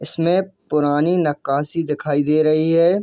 इसमें पुरानी नक्‍काशी दिखाई दे रही हैं।